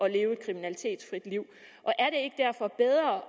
at leve et kriminalitetsfrit liv